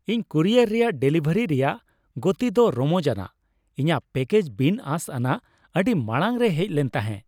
ᱤᱧ ᱠᱩᱨᱤᱭᱟᱨ ᱨᱮᱭᱟᱜ ᱰᱮᱞᱤᱵᱷᱟᱨᱤ ᱨᱮᱭᱟᱜ ᱜᱚᱛᱤ ᱫᱚ ᱨᱚᱢᱚᱡᱟᱱᱟᱜ ᱾ ᱤᱧᱟᱹᱜ ᱯᱮᱠᱮᱡᱽ ᱵᱤᱱ ᱟᱸᱥ ᱟᱱᱟᱜ ᱟᱹᱰᱤ ᱢᱟᱲᱟᱝ ᱨᱮ ᱦᱮᱡ ᱞᱮᱱ ᱛᱟᱦᱮᱸ ᱾